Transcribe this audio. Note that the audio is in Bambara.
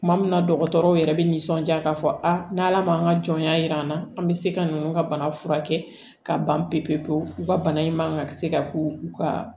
Tuma min na dɔgɔtɔrɔw yɛrɛ bɛ nisɔndiya ka fɔ a n' ala ma ka jɔnya jir'an na an bɛ se ka ninnu ka bana furakɛ ka ban pewu pewu u ka bana in man ka se ka k'u ka